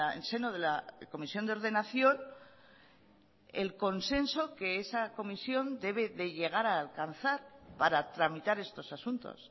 el seno de la comisión de ordenación el consenso que esa comisión debe de llegar a alcanzar para tramitar estos asuntos